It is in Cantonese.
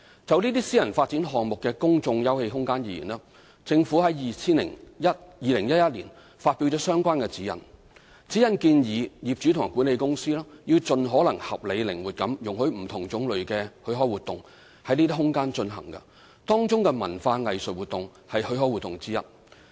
就這些私人發展項目的公眾休憩空間而言，政府於2011年發表相關指引，指引建議業主和管理公司要盡可能合理靈活地容許不同種類的許可活動在這些空間進行，當中文化藝術活動為許可活動之一。